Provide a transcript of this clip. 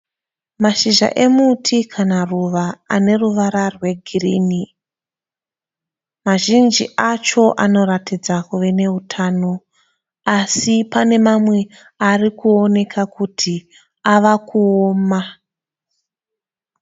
Mashizha emuti kana ruva ane ruvara rwegirini. Mazhinji acho anoratidza kuve neutano. Asi pane mamwe ari kuoneka kuti ava kuoma.